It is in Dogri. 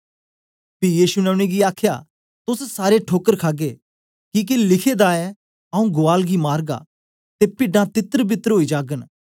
पी यीशु ने उनेंगी आखया तोस सारे ठोकर खागे किके लिखे दा ऐ आऊँ गुआल गी मारगा ते पिड्डां तितरबितर ओई जागन